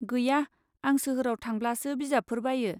गैया, आं सोहोराव थांब्लासो बिजाबफोर बायो।